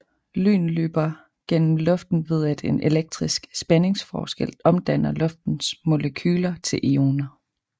Lyn løber gennem luften ved at en elektrisk spændingsforskel omdanner luftens molekyler til ioner